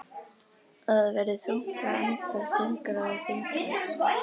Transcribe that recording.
Og það verður þungt að anda, þyngra og þyngra.